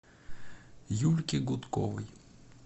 юльке гудковой